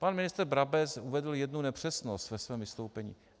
Pan ministr Brabec uvedl jednu nepřesnost ve svém vystoupení.